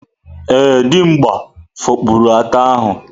Ee, Dimgba fopụrụ ata ahu.